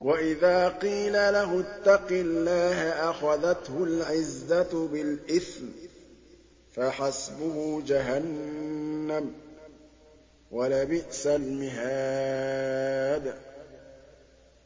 وَإِذَا قِيلَ لَهُ اتَّقِ اللَّهَ أَخَذَتْهُ الْعِزَّةُ بِالْإِثْمِ ۚ فَحَسْبُهُ جَهَنَّمُ ۚ وَلَبِئْسَ الْمِهَادُ